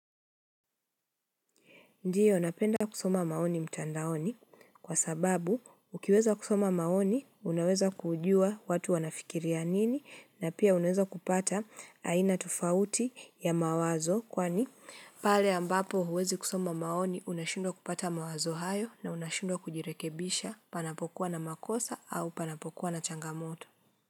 Ndiyo napenda kusoma maoni mtandaoni kwa sababu ukiweza kusoma maoni unaweza kujua watu wanafikiria nini na pia unaweza kupata aina tofauti ya mawazo kwani pale ambapo huwezi kusoma maoni unashindwa kupata mawazo hayo na unashindwa kujirekebisha panapokuwa na makosa au panapokuwa na changamoto.